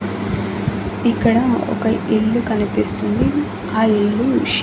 ఇక్కడ ఒక ఇల్లు కనిపిస్తుంది ఆ ఇల్లు--